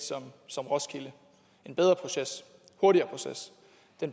som roskilde en bedre proces en hurtigere proces